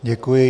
Děkuji.